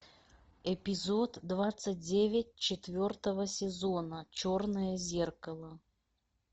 эпизод двадцать девять четвертого сезона черное зеркало